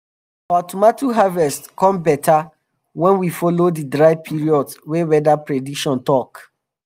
our tomato harvest come beta when we follow di dry period wey weather prediction talk